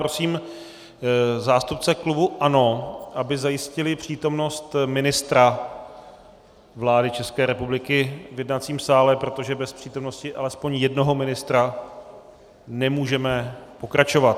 Prosím zástupce klubu ANO, aby zajistili přítomnost ministra vlády České republiky v jednacím sále, protože bez přítomnosti alespoň jednoho ministra nemůžeme pokračovat.